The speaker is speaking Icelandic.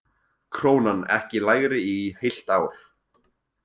Krónan ekki lægri í heilt ár